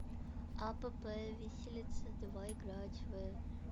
апп виселица давай играть в